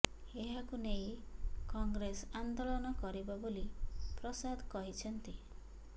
ଏହାକୁ ନେଇ କଂଗ୍ରେସ ଆନ୍ଦୋଳନ କରିବ ବୋଲି ପ୍ରସାଦ କହିଛନ୍ତି